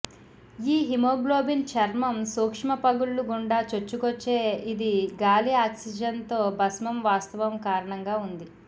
ఈ హిమోగ్లోబిన్ చర్మం సూక్ష్మపగుళ్లు గుండా చొచ్చుకొచ్చే ఇది గాలి ఆక్సిజన్ తో భస్మం వాస్తవం కారణంగా ఉంది